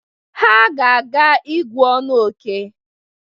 Ha ga-aga ígú ọnụ óké.